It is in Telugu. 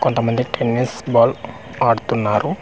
కొంత మంది టెన్నిస్ బాల్ ఆడుతున్నారు .]